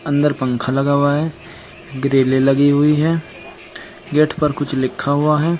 अंदर पंखा लगा हुआ है ग्रीले लगी हुई है गेट पर कुछ लिखा हुआ है।